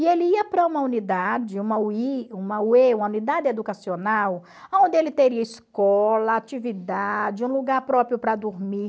E ele ia para uma unidade, uma u i uma u e, uma unidade educacional, aonde ele teria escola, atividade, um lugar próprio para dormir.